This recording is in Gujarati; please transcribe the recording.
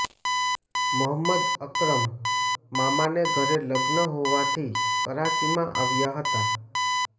મોહમ્મદ અકરમ મામાને ઘરે લગ્ન હોવાથી કરાચીમાં આવ્યા હતા